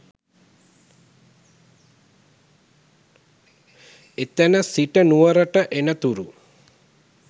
එතැන සිට නුවරට එනතුරු